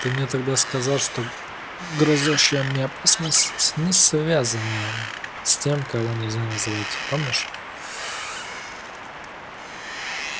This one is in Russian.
ты мне тогда сказал что грозящая мне опасность не связана с тем-кого-нельзя-называть помнишь